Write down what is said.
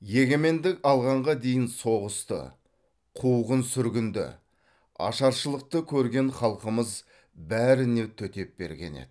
егемендік алғанға дейін соғысты қуғын сүргінді ашаршылықты көрген халқымыз бәріне төтеп берген еді